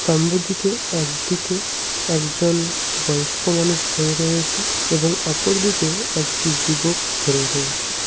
স্তম্ভটিকে একদিকে একজন বয়স্ক মানুষ ধরে রয়েছে এবং অপরদিকে একটি যুবক ধরে রয়েছে।